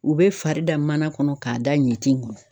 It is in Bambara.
U bɛ fari da mana kɔnɔ k'a da ɲitin.